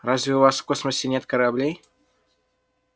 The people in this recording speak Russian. разве у вас в космосе нет кораблей